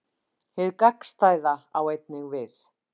Hið gagnstæða á einnig við.